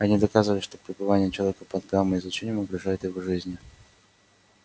они доказывали что пребывание человека под гамма излучением угрожает его жизни